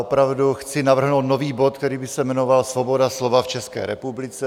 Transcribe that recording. Opravdu chci navrhnout nový bod, který by se jmenoval Svoboda slova v České republice.